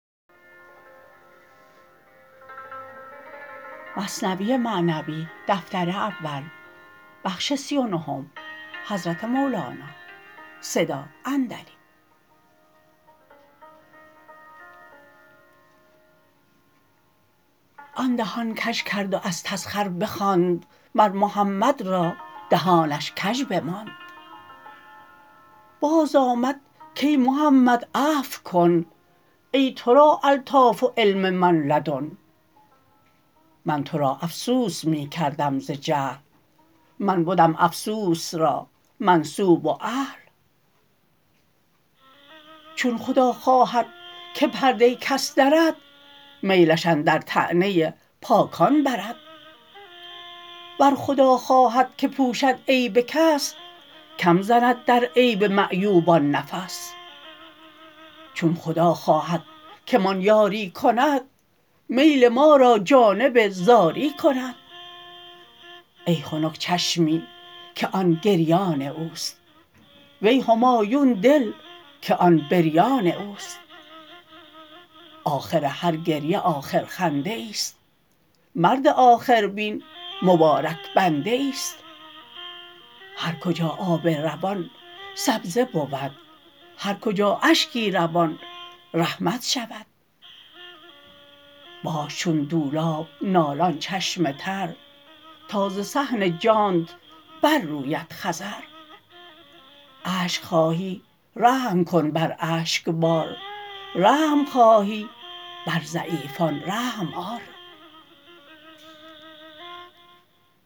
آن دهان کژ کرد و از تسخر بخواند مر محمد را دهانش کژ بماند باز آمد کای محمد عفو کن ای ترا الطاف و علم من لدن من ترا افسوس می کردم ز جهل من بدم افسوس را منسوب و اهل چون خدا خواهد که پرده کس درد میلش اندر طعنه پاکان برد ور خدا خواهد که پوشد عیب کس کم زند در عیب معیوبان نفس چون خدا خواهد که مان یاری کند میل ما را جانب زاری کند ای خنک چشمی که آن گریان اوست وی همایون دل که آن بریان اوست آخر هر گریه آخر خنده ایست مرد آخر بین مبارک بنده ایست هر کجا آب روان سبزه بود هر کجا اشکی روان رحمت شود باش چون دولاب نالان چشم تر تا ز صحن جانت بر روید خضر اشک خواهی رحم کن بر اشک بار رحم خواهی بر ضعیفان رحم آر